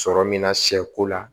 Sɔrɔ min na sɛko la